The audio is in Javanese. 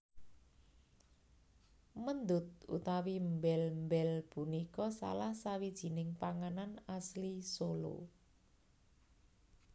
Méndut utawi mbél mbél punika salah sawijining panganan asli Solo